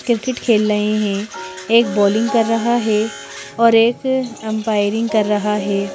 Cricket खेल रहे हैं एक बॉलिंग कर रहा है और एक अंपायरिंग कर रहा है।